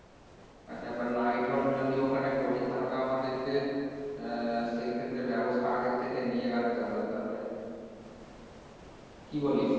আচ্ছা বা night hold যদি ওখানে করি তাহলে আমাদেরকে আহ সেইক্ষেত্রে ব্যাবস্থা আগে থেকে নিয়ে রাখতে হবে তাহলে। কী বলিস?